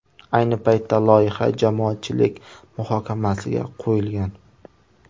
Ayni paytda loyiha jamoatchilik muhokamasiga qo‘yilgan.